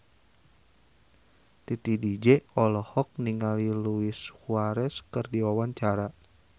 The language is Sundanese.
Titi DJ olohok ningali Luis Suarez keur diwawancara